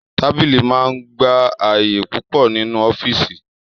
Tábìlì máa ń gba àyè púpọ̀ nínú ọ́fíìsì